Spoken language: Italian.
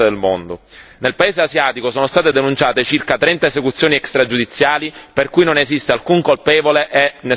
Nel paese asiatico sono state denunciate circa trenta esecuzioni extragiudiziali per cui non esiste alcun colpevole e nessun indagato.